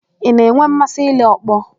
Ị na-enwe mmasị ile ọkpọ?